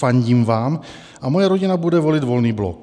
Fandím vám a moje rodina bude volit Volný blok.